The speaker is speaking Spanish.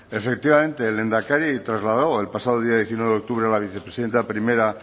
efectivamente el lehendakari trasladó el pasado día diecinueve de octubre a la vicepresidenta primera